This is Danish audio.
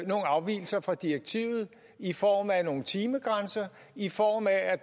afvigelser fra direktivet i form af nogle timegrænser i form af at